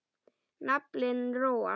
Naflinn róast.